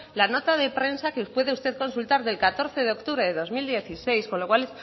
la nota de prensa que puede usted consultar del catorce de octubre de dos mil dieciséis con lo cual